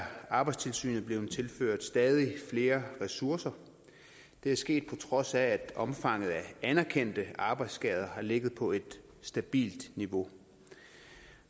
arbejdstilsynet blevet tilført stadig flere ressourcer det er sket på trods af at omfanget af anerkendte arbejdsskader har ligget på et stabilt niveau